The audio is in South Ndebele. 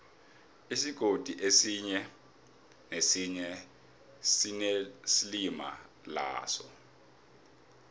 isigodi esinye nesinye sinelimi laso